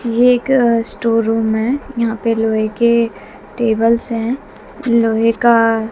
ये एक store room है यहां पे लोहे के टेबलस है लोहे का --